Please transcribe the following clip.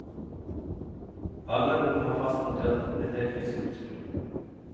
Alle rom har fastmontert teknisk utstyr.